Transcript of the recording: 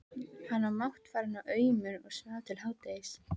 Hann var máttfarinn og aumur og svaf til hádegis.